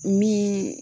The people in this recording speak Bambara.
Min